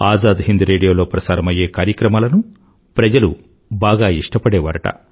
ఆజాద్ హింద్ రేడియోలో ప్రసారమయ్యే కార్యక్రమాలను ప్రజలు బాగా ఇష్టపడేవారుట